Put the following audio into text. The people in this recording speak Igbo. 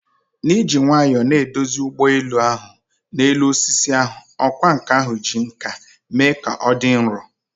N'iji nwayọọ na-eduzi ụgbọ elu ahụ n'elu osisi ahụ, ọkwá nkà ahụ ji nkà mee ka ọ dị nro.